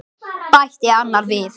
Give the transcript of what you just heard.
bætti annar við.